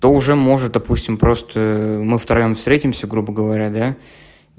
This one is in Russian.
то уже может допустим просто мы втроём встретимся грубо говоря да